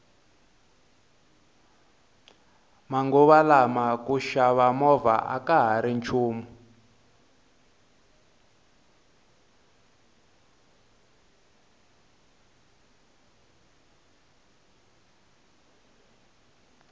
manguva lawa ku xava movha akahari nchumu